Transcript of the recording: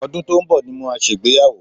Ọdún tó ń bọ̀ ni màá ṣe ìgbéyàwó